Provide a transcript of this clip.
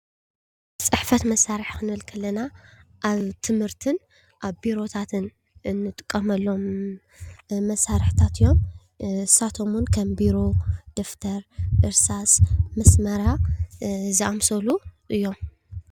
ፅሕፈት መሳርሒ ክንብል ከለና ኣብ ትምህርትን ኣብ ቢሮታትን እንጥቀመሎም መሳርሕታት እዮም፡፡ ንሳቶም ውን ከም ቢሮ፣ ደፍተር፣ እርሳስ ፣መስመርያ ዝኣምሰሉ እዮም፡፡